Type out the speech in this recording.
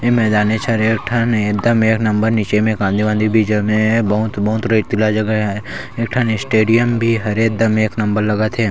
ए मैदाने च हरय एक ठन एकदम एक नंबर नीचे मे कांदी वांदी भी जमे हे बहुत बहुत रेतीला जगह ए एक ठन स्टेडियम भी हरे एक नंबर लगत हे।